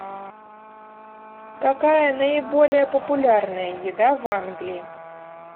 какая наиболее популярная еда в англии